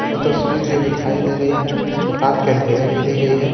यह तस्वीर जो दिखाई दे रही है यह रात के अंधेरे में ली गई है।